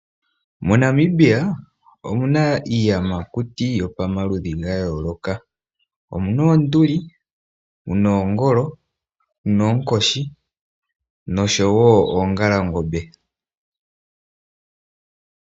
MoNamibia omuna iiyamakuti yopamaludhi ga yooloka, omuna oonduli, muna oongolo, muna oonkoshi noshowo oongalangombe.